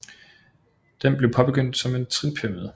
Den blev påbegyndt som en trinpyramide